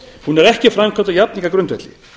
hún er ekki framkvæmd á jafningjagrundvelli